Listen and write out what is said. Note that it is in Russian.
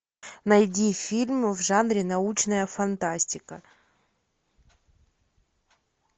найди фильм в жанре научная фантастика